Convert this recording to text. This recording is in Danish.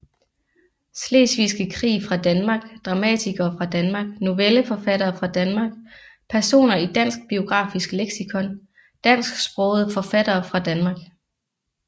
Slesvigske Krig fra Danmark Dramatikere fra Danmark Novelleforfattere fra Danmark Personer i Dansk Biografisk Leksikon Dansksprogede forfattere fra Danmark